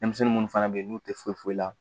Denmisɛnnin munnu fana bɛ yen n'u tɛ foyi foyi la